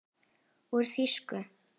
Úr þýsku